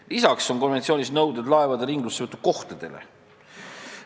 Lisaks on konventsioonis nõuded laevade ringlussevõtu kohtadele.